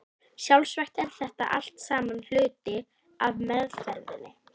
Sjálfsagt er þetta allt saman hluti af meðferðinni.